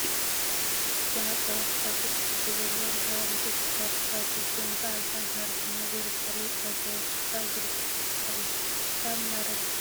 ብአሕፀሮት ቃል ተፃሒፉ ዘሎ ማሕበር ረዲኤት ትግራይ ትካል ዝብል ኮይኑ አብዝሓ ማሕበረሰብና ዘይርበሐሉ ውልቀ ሰበ ስልጣን ዝርበሐሉትካል እዮ ። ከብ ማረት ዝጥቀም ድካ አካል አለ ዶ?